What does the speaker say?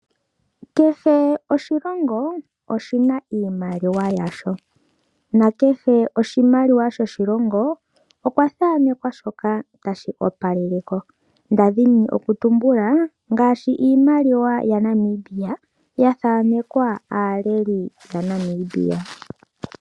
Kehe oshilongo oshi na iimaliwa yasho na kehe oshimaliwa shoshilongo okwathanekwa shoka tashi opaleleko nda dhini okutumbula ngaashi iimaliwa yaNamibia ya thanekelwa aaleli yaNamibia.